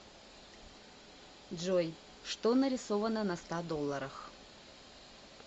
джой что нарисовано на ста долларах